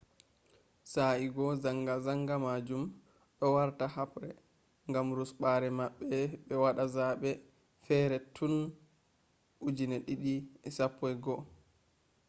sae'go zanga-zanga majum do warta habre gam rusbaare mabbe be wada zabe fere tun 2011